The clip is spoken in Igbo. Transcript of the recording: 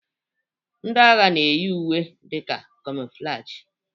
Ndị agha na-eyi uwe dị ka kamoflajị.